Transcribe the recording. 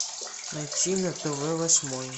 найти на тв восьмой